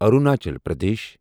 Arunachal Pradesh